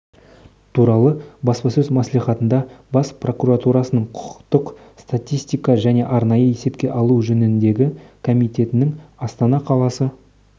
туралы баспасөз мәслихатында бас прокуратурасының құқықтық статистика және арнайы есепке алу жөніндегі комитетінің астана қаласы